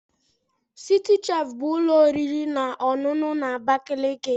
Citi chef bụ ụlọ oriri na ọṅụṅụ na Abakaliki.